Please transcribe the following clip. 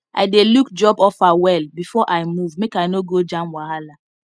i dey look job offer well before i move make i no go jam wahala